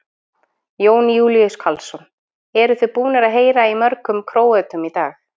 Jón Júlíus Karlsson: Eruð þið búnir að heyra í mörgum Króötum í dag?